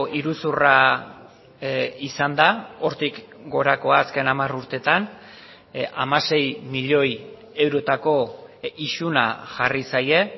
iruzurra izan da hortik gorakoa azken hamar urteetan hamasei milioi eurotako isuna jarri zaie